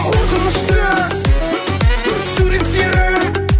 қорқынышты суреттерің